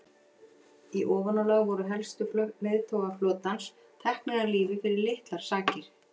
Í ofanálag voru helstu leiðtogar flotans teknir af lífi fyrir litlar sakir.